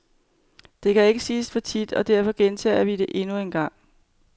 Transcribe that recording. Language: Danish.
Det kan ikke siges for tit, og derfor gentager vi det endnu engang.